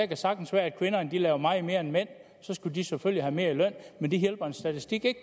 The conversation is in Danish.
kan sagtens være at kvinderne laver meget mere end mændene så skal de selvfølgelig have mere i løn men det hjælper en statistik ikke